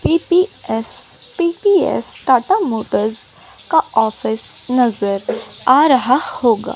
PPS P P S Tata Motors का आफिस नजर आ रहा होगा।